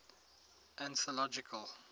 anthological